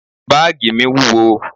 Báàgì mi wúwo.